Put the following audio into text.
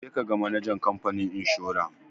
Je ka ga manajan ikamfanin inshora!